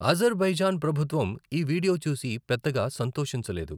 Azerbaijan ప్రభుత్వం ఈ video చూసి పెద్దగా సంతోషించలేదు.